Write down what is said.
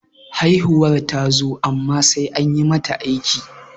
haihuwar ta zo amma sai an yi mata aiki